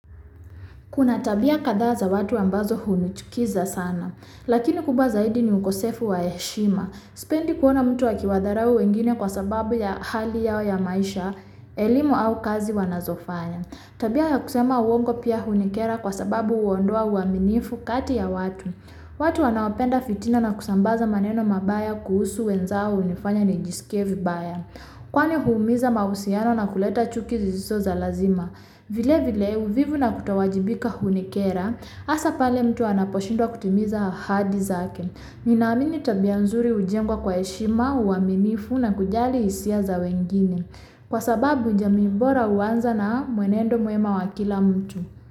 Kuna tabia kadha za watu ambazo hunichukiza sana, lakini kubwa zaidi ni ukosefu wa heshima. Sipendi kuona mtu akiwadarau wengine kwa sababu ya hali yao ya maisha, elimu au kazi wanazofanya. Tabia ya kusema uwongo pia hunikera kwa sababu huondoa uaminifu kati ya watu. Watu wanaopenda fitina na kusambaza maneno mabaya kuhusu wenzao hunifanya nijiskie vibaya. Kwani huumiza mahusiano na kuleta chuki isizo za lazima. Vilevile uvivu na kutowajibika hunikera hasa pale mtu anaposhindwa kutimiza ahadi zake. Ninaamini tabia nzuri hujengwa kwa heshima uaminifu na kujali hisia za wengine. Kwa sababu jamii bora huwanza na mwenendo mwema wa kila mtu.